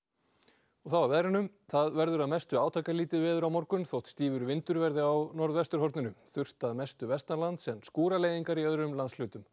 og þá að veðri það verður að mestu átakalítið veður á morgun þótt stífur vindur verði á norðvesturhorninu þurrt að mestu vestanlands en skúraleiðingar í öðrum landshlutum